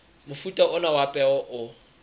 mofuta ona wa peo o